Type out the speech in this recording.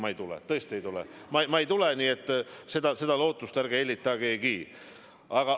Ma ei tule, tõesti ei tule, ma ei tule, nii et seda lootust ärge hellitagegi!